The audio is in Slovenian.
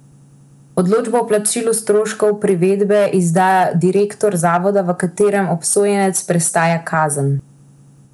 Odločbo o plačilu stroškov privedbe izda direktor zavoda, v katerem obsojenec prestaja kazen.